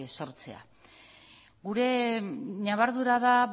sortzea gure ñabardura da